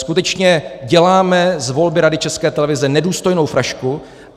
Skutečně děláme z volby Rady České televize nedůstojnou frašku.